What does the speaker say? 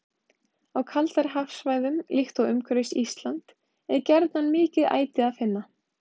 Á kaldari hafsvæðum, líkt og umhverfis Ísland, er gjarnan mikið æti að finna.